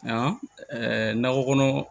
Nka nakɔ kɔnɔ